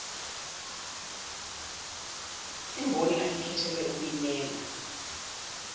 imboni ayekhethelwe ukuyimela